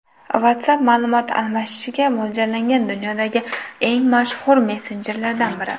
WhatsApp ma’lumot almashishga mo‘ljallangan dunyodagi eng mashhur messenjerlardan biri.